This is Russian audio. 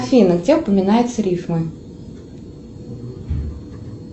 афина где упоминаются рифмы